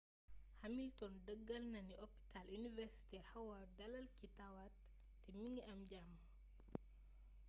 hamilton dëggal na ni hôpital universitaire howard dalal ki tawat te mingi am jàmm